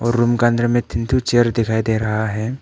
Room का अंदर में तीन ठो चेयर दिखाई दे रहा है।